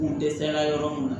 U dɛsɛra yɔrɔ mun na